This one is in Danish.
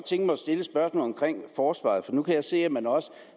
forsvaret for nu kan jeg se at man også